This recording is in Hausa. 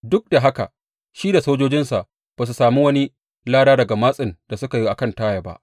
Duk da haka shi da sojojinsa ba su sami wani lada daga matsin da suka yi a kan Taya ba.